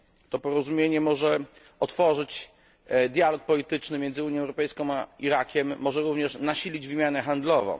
To porozumienie może otworzyć dialog polityczny między Unią Europejską a Irakiem, może również nasilić wymianę handlową.